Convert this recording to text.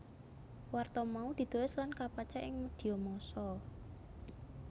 Warta mau ditulis lan kapacak ing medhia massa